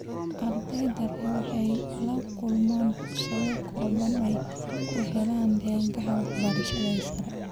Ardayda rer waxay la kulmaan fursado kooban oo ay ku helaan deeqaha waxbarasho ee sare.